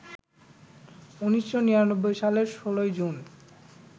১৯৯৯ সালের ১৬ জুন